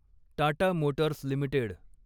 Tata motors limited